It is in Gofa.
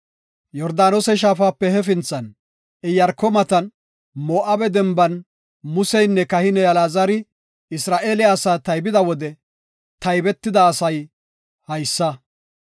Yordaanose Shaafape hefinthan, Iyaarko matan, Moo7abe denban Museynne kahiney Alaazari Isra7eele asaa taybida wode taybetida asay haysa.